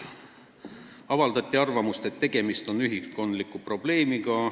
Avaldati arvamust, et tegemist on ühiskondliku probleemiga.